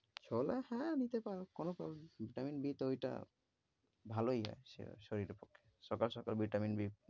ছোলা হ্যাঁ নিতে পারো, কোন problem, vitamin B তো ঐটা ভালোই আছে আহ শরীরের পক্ষে সকাল সকাল vitamin B ।